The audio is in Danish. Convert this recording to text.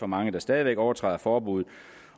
mange der stadig væk overtræder forbuddet